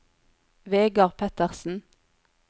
Vegar Pettersen